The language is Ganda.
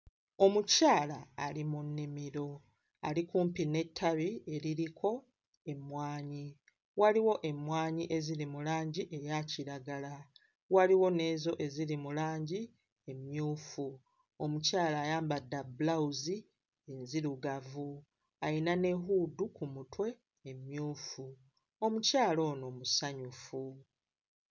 Omukyala ali mu nnimiro, ali kumpi n'ettabi eririko emmwanyi, waliwo emmwanyi eziri mu langi eya kiragala, waliwo n'ezo eziri mu langi emmyufu. Omukyala ayambadde bulawuzi nzirugavu, ayina ne huudu ku mutwe emmyufu, omukyala ono musanyufu.